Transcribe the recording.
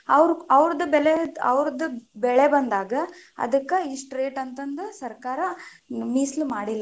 ಅವ್ರದ ಬೆಲೆ ಅವ್ರದ ಬೆಳೆ ಬಂದಾಗ ಅದಕ್ಕ ಇಷ್ಟ rate ಅಂತಂದ ಸರ್ಕಾರ ಮೀಸಲು ಮಾಡಿಲ್ಲಾ.